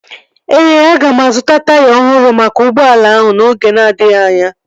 Ee, aga m azụta taya ọhụrụ maka ụgbọala ahụ n'oge na-adịghị anya